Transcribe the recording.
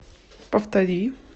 повтори